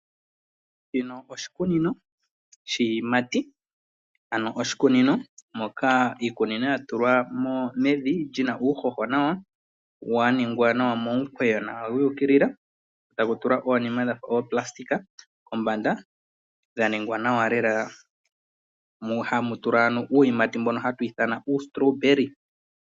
Shino oshikunino shiyimati, ano oshikunino moka iikunino yatulwa mevi lina uuhoho nawa , waningwa nawa momukweyo wi ikilila taku tulwa onima dhafa opalasitika kombanda dha ningwa nawa lela mu hamu tulwa uyimati mboka hatu ithana u strawberry.